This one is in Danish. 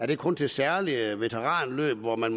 det kun til særlige veteranløb hvor man